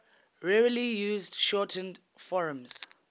rarely used shortened forms